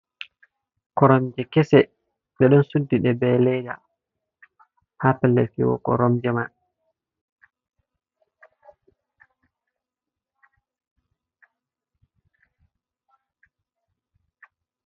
Koromje kese ɓe ɗo suddi ɗe be leda, ha pellel fiwogo koromje man.